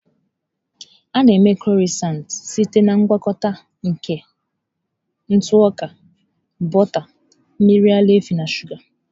A na-eme Crọisantị site na ngwakọta nke ntụ ọka, bọta, mmiri ara ehi na shụga.